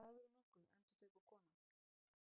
Sagðirðu nokkuð, endurtekur konan.